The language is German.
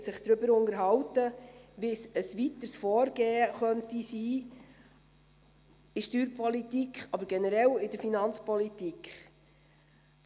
Er wird sich darüber unterhalten, wie ein weiteres Vorgehen in der Steuerpolitik, aber auch generell in der Finanzpolitik sein könnte.